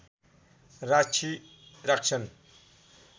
राक्षी राख्छन्